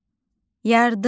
Yardımlı.